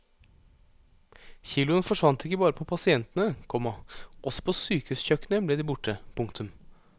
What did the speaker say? Kiloene forsvant ikke bare på pasientene, komma også på sykehuskjøkkenet ble de borte. punktum